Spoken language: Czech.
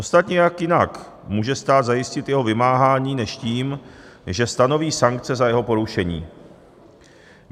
Ostatně jak jinak může stát zajistit jeho vymáhání než tím, že stanoví sankce za jeho porušení?